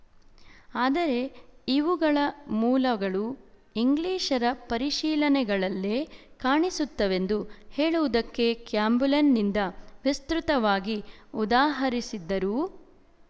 ಆದರೆ ಇವುಗಳ ಮೂಲಗಳು ಇಂಗ್ಲಿಶರ ಪರಿಶೀಲನೆಗಳಲ್ಲೇ ಕಾಣಿಸುತ್ತವೆಂದು ಹೇಳುವುದಕ್ಕೆ ಕ್ಯಾಂಬೆಲ್‍ನಿಂದ ವಿಸ್ತೃತವಾಗಿ ಉದಾಹರಿಸಿದ್ದರೂ